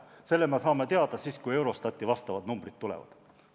Selle me saame teada siis, kui Eurostati vastavad numbrid tulevad.